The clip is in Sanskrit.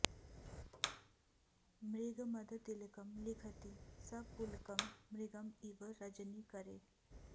मृग मद तिलकम् लिखति स पुलकम् मृगम् इव रजनी करे